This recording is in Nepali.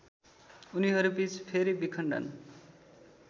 उनीहरूबीच फेरि विखण्डन